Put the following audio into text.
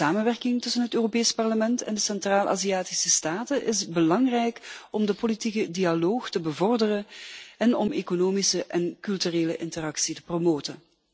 De samenwerking tussen het Europees Parlement en de Centraal Aziatische staten is belangrijk om de politieke dialoog te bevorderen en de economische en culturele interactie te promoten.